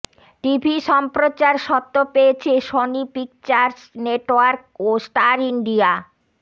TV সম্প্রচার সত্ত্ব পেয়েছে সনি পিকচার্স নেটওয়ার্ক ও স্টার ইন্ডিয়া